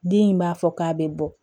Den in b'a fɔ k'a bɛ bɔ